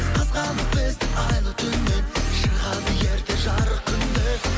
қызғанып бізді айлы түннен шығады ерте жарық күн де